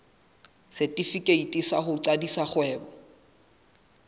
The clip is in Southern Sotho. setefikeiti sa ho qadisa kgwebo